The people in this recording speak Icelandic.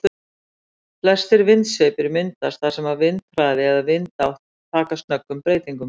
Flestir vindsveipir myndast þar sem vindhraði eða vindátt taka snöggum breytingum.